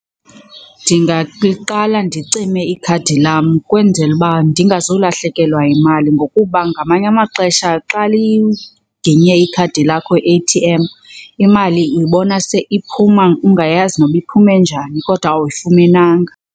Qala ndicime ikhadi lam kwenzela uba ndingazolahlekelwa yimali ngokuba ngamanye amaxesha xa liginye ikhadi lakho i-A_T_M imali uyibona seyiphuma ungayazi noba iphume njani kodwa awuyifumenanga.